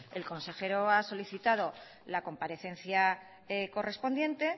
el consejero ha solicitado la comparecencia correspondiente